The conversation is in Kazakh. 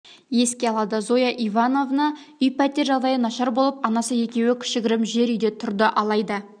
еске алады зоя ивановна үй-пәтер жағдайы нашар болып анасы екеуі кішігірім жер үйде тұрды алайда